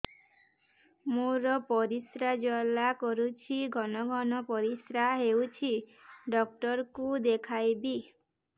ମୋର ପରିଶ୍ରା ଜ୍ୱାଳା କରୁଛି ଘନ ଘନ ପରିଶ୍ରା ହେଉଛି ଡକ୍ଟର କୁ ଦେଖାଇବି